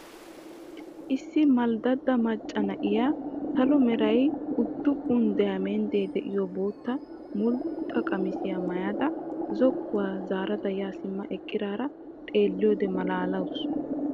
Issi malddada macca na'iyaa sallo meraa uddufuni 'dayamendde' de'iyoo bootta mulxxa qamissiyaa maayda zokkuwaa zaarada ya simma eqqara xeeliyode maalalawussu.